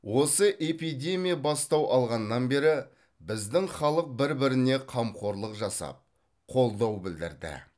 осы эпидемия бастау алғаннан бері біздің халық бір біріне қамқорлық жасап қолдау білдірді